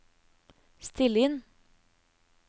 still inn